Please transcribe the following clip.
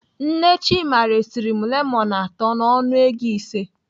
Nne Chima resiri m lemọnụ atọ n'ọnụ ego ise.